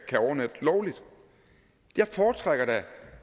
overnatte lovligt jeg foretrækker da